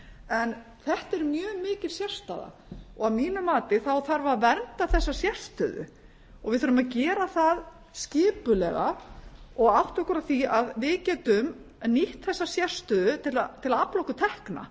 en þetta er mjög mikil sérstaða og að mínu mati þá þarf að vernda þessa sérstöðu og við þurfum að gera það skipulega og átta okkur á því að við getum nýtt okkur þessa sérstöðu til að afla okkur tekna